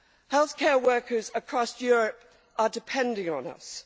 Healthcare workers across Europe are depending on us.